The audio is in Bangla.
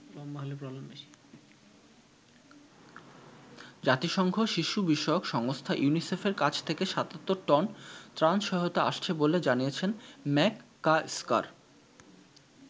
জাতিসংঘ শিশু বিষয়ক সংস্থা ইউনিসেফের কাছ থেকে ৭৭ টন ত্রাণ সহায়তা আসছে বলে জানিয়েছেন ম্যাককাস্কার।